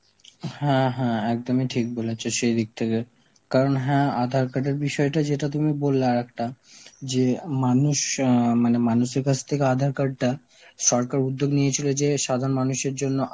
হ্যাঁ হ্যাঁ একদমই ঠিক বলেছ সেই দিক থেকে, কারণ হ্যাঁ আধার card এর বিষয়টা যেটা তুমি বললে আর একটা যে মানুষ আ মানে মানুষের কাছ থেকে আধার card টা~ সরকার উদ্যোগ নিয়েছিলে যে সাধারণ মানুষের জন্য